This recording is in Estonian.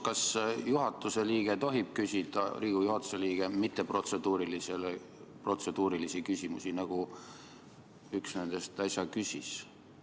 Kas Riigikogu juhatuse liige tohib küsida mitteprotseduurilisi küsimusi, nagu üks nendest äsja küsis?